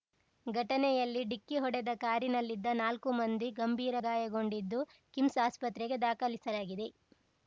ಘಟನೆಯಲ್ಲಿ ಡಿಕ್ಕಿ ಹೊಡೆದ ಕಾರಿನಲ್ಲಿದ್ದ ನಾಲ್ಕು ಮಂದಿ ಗಂಭೀರ ಗಾಯಗೊಂಡಿದ್ದು ಕಿಮ್ಸ್‌ ಆಸ್ಪತ್ರೆಗೆ ದಾಖಲಿಸಲಾಗಿದೆ